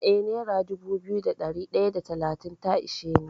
Eh nera dubu biyu da ɗari ɗaya da talatin ta ishe ni.